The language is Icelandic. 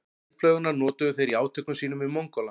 Eldflaugarnar notuðu þeir í átökum sínum við Mongóla.